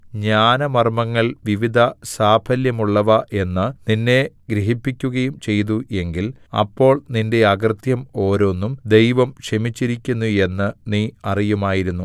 ജ്ഞാനമർമ്മങ്ങൾ വിവിധ സാഫല്യമുള്ളവ എന്ന് നിന്നെ ഗ്രഹിപ്പിക്കുകയും ചെയ്തു എങ്കിൽ അപ്പോൾ നിന്റെ അകൃത്യം ഓരോന്നും ദൈവം ക്ഷമിച്ചിരിക്കുന്നു എന്ന് നീ അറിയുമായിരുന്നു